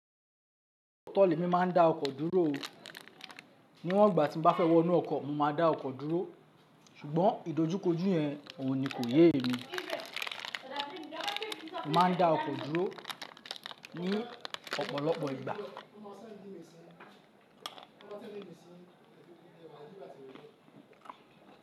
Tọ́ọ̀lì le mi ma ń da ọkọ̀ dúró o. Ní wọ́n ìgbà tí bá fẹ́ wọnú ọkọ̀, mo máa da ọkọ̀ dúró. Ṣùgbọ́n ìdójúkojú yẹn ò ní kó yé emi. Má ń da ọkọ̀ dúró ní ọ̀pọ̀lọpọ̀ ìgbà.